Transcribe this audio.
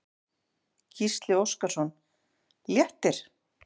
Gísli Óskarsson: Léttir?